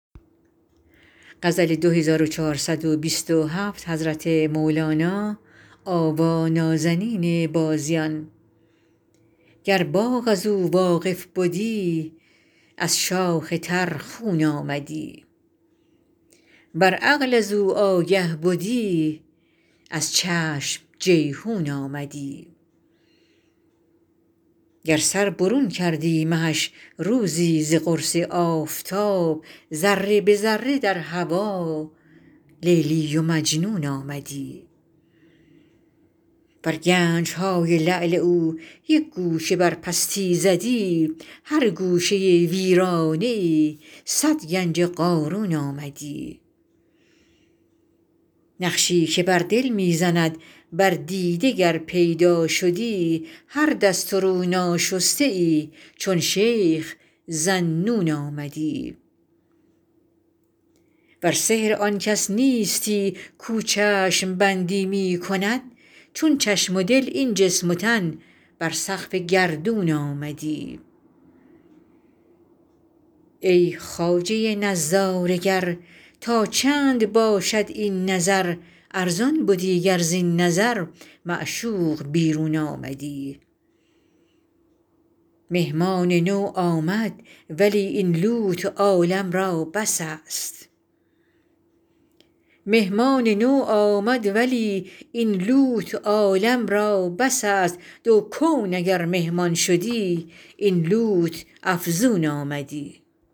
گر باغ از او واقف بدی از شاخ تر خون آمدی ور عقل از او آگه بدی از چشم جیحون آمدی گر سر برون کردی مهش روزی ز قرص آفتاب ذره به ذره در هوا لیلی و مجنون آمدی ور گنج های لعل او یک گوشه بر پستی زدی هر گوشه ویرانه ای صد گنج قارون آمدی نقشی که بر دل می زند بر دیده گر پیدا شدی هر دست و رو ناشسته ای چون شیخ ذاالنون آمدی ور سحر آن کس نیستی کو چشم بندی می کند چون چشم و دل این جسم و تن بر سقف گردون آمدی ای خواجه نظاره گر تا چند باشد این نظر ارزان بدی گر زین نظر معشوق بیرون آمدی مهمان نو آمد ولی این لوت عالم را بس است دو کون اگر مهمان شدی این لوت افزون آمدی